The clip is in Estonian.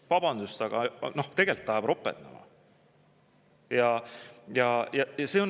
Vabandust, aga tegelikult ajab ropendama!